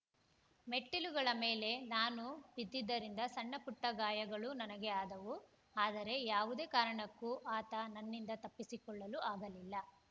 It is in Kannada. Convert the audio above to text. ಮೆಟ್ಟಿಲುಗಳ ಮೇಲೆ ನಾನು ಬಿದ್ದಿದ್ದರಿಂದ ಸಣ್ಣ ಪುಟ್ಟಗಾಯಗಳೂ ನನಗೆ ಆದವು ಆದರೆ ಯಾವುದೇ ಕಾರಣಕ್ಕೂ ಆತ ನನ್ನಿಂದ ತಪ್ಪಿಸಿಕೊಳ್ಳಲು ಆಗಲಿಲ್ಲ